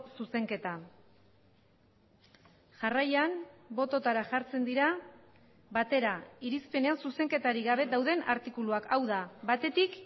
zuzenketa jarraian bototara jartzen dira batera irizpenean zuzenketarik gabe dauden artikuluak hau da batetik